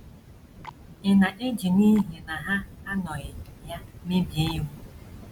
Ị̀ na - eji n’ihi na ha anọghị ya mebie iwu?